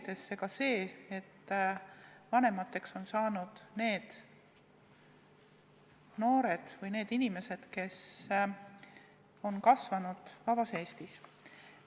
Ilmselt on põhjus ka see, et lapsevanemateks on saanud need noored inimesed, kes on kasvanud vabas Eestis.